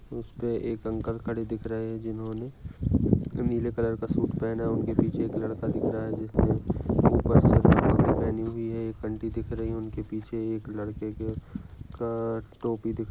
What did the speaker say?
उसपे एक अंकल खड़े दिख रहे जिन्होने नीले कलर का सूट पहना उनके पीछे एक लड़का दिख रहा जिसने ऊपर सिर पर पगड़ी पहनी हुई है एक आंटी दिख रही उनके पीछे एक लड़के के का टोपी दिख र--